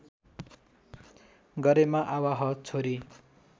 गरेमा आवाह छोरी